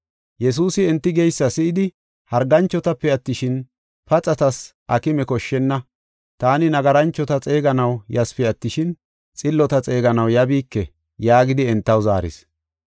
Yesuusi enti geysa si7idi, “Harganchotape attishin, paxatas aakime koshshenna. Taani nagaranchota xeeganaw yasipe attishin, xillota xeeganaw yabiike” yaagidi entaw zaaris.